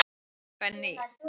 Benný